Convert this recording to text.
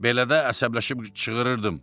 Belə də əsəbləşib çığırırdım.